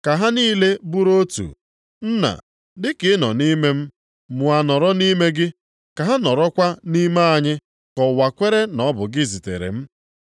Ka ha niile bụrụ otu, Nna, dị ka ị nọ nʼime m mụ a nọrọ nʼime gị. Ka ha nọrọkwa nʼime anyị ka ụwa kwere na ọ bụ gị zitere m.